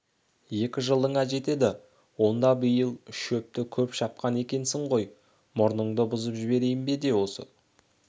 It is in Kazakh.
екі жылыңа жетеді онда биыл шөпті көп шапқан екенсің ғой мұрныңды бұзып жіберейін бе осы